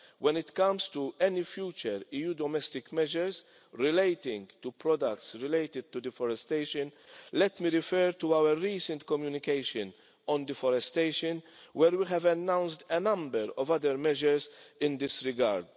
When it comes to any future EU domestic measures relating to products associated with deforestation, let me refer to our recent communication on deforestation where we have announced a number of other measures in this regard.